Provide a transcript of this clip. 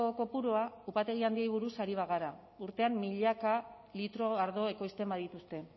kopurua upategi handiei buruz ari bagara urtean milaka litro ardo ekoizten badituzte